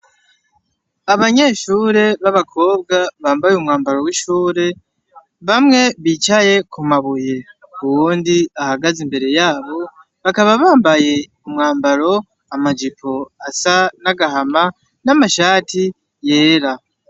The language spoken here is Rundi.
Abanyeshure b'abakobwa bambaye umwambaro w'ishure bamwe bicaye ku mabuye uwundi ahagaze imbere yabo bakaba bambaye umwambaro amajipo asa n'agahama n'amashati yera.